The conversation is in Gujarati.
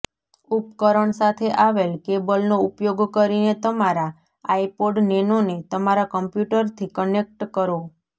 ઉપકરણ સાથે આવેલ કેબલનો ઉપયોગ કરીને તમારા આઇપોડ નેનોને તમારા કમ્પ્યુટરથી કનેક્ટ કરો